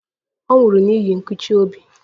Ọ nwụrụ n'ihi nkụchi obi.